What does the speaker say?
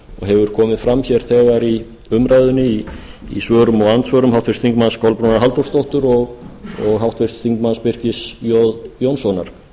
hefur komið fram hér þegar í umræðunni í svörum og andsvörum háttvirtur þingmaður kolbrúnar halldórsdóttur og háttvirtur þingmaður birkis jóns jónssonar